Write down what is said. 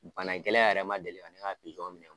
Bana gɛlɛ yɛrɛ man deli ka ne ka pizɔn minɛ